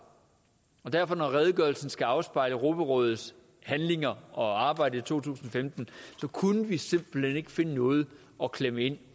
og derfor når redegørelsen skal afspejle europarådets handlinger og arbejde i to tusind og femten kunne vi simpelt hen ikke finde noget at klemme ind